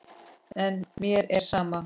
En mér er sama.